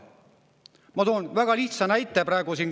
Ma toon väga lihtsa näite karistusõigusest.